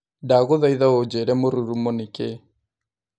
Ndagũthaĩtha ũjĩire mũrurumo nĩ kĩĩ?